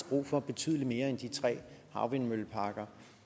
brug for betydelig mere end de tre havvindmølleparker